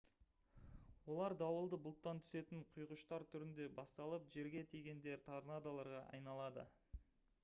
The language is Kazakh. олар дауылды бұлттан түсетін «құйғыштар» түрінде басталып жерге тигенде «торнадоларға» айналады